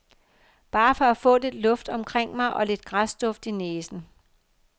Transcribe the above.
Bare for at få lidt luft omkring mig og lidt græsduft i næsen.